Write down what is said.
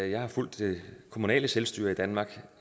jeg har fulgt det kommunale selvstyre i danmark